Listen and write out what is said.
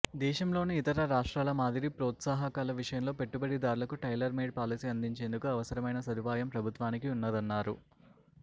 దేశంలోని ఇతర రాష్ట్రాల మాదిరి ప్రోత్సాహకాలు విషయంలో పెట్టుబడిదారులకు టైలర్ మేడ్ పాలసీ అందించేందుకు అవసరమైన సదుపాయం ప్రభుత్వానికి ఉన్నదన్నారు